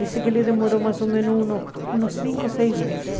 Dizem que ele demorou mais ou menos uns uns cinco, seis meses.